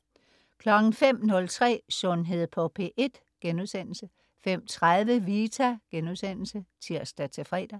05.03 Sundhed på P1* 05.30 Vita* (tirs-fre)